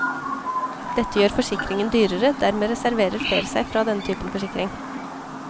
Dette gjør forsikringen dyrere, dermed reserverer flere seg fra denne typen forsikring.